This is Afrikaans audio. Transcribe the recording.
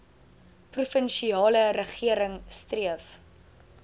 provinsiale regering streef